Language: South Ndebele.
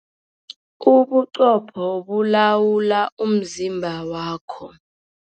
Ubuqopho bulawula umzimba wakho.